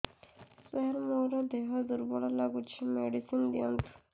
ସାର ମୋର ଦେହ ଦୁର୍ବଳ ଲାଗୁଚି ମେଡିସିନ ଦିଅନ୍ତୁ